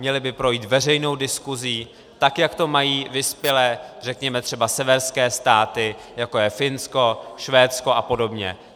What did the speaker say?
Měly by projít veřejnou diskuzí, tak jak to mají vyspělé, řekněme třeba severské státy, jako je Finsko, Švédsko a podobně.